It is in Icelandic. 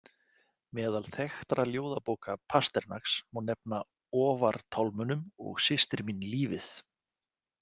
Meðal þekktra ljóðabóka Pasternaks má nefna Ofar tálmunum og Systir mín lífið.